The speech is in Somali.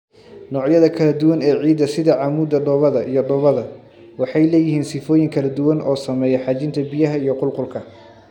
Noocyada kala duwan ee ciidda, sida cammuudda, dhoobada, iyo dhoobada, waxay leeyihiin sifooyin kala duwan oo saameeya xajinta biyaha iyo qulqulka.